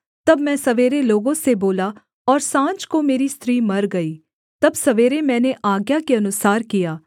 तब मैं सवेरे लोगों से बोला और साँझ को मेरी स्त्री मर गई तब सवेरे मैंने आज्ञा के अनुसार किया